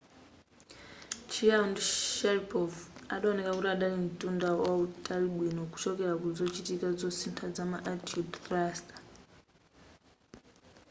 chiao ndi sharipov adaoneka kuti adali mtunda wautali bwino kuchokera ku zochitika zosintha zama attitude thruster